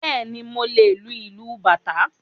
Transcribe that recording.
Bẹ́ẹ̀ni, mo lè lu ìlù Bàtá